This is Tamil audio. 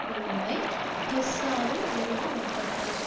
குழுவை ஹெஸ்ஸவில் நிறுவ முற்பட்டார்